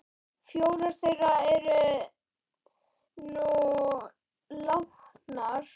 Fjórar þeirra eru nú látnar.